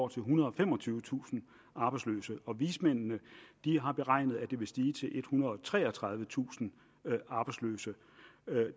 ethundrede og femogtyvetusind arbejdsløse vismændene har beregnet at det vil stige til ethundrede og treogtredivetusind arbejdsløse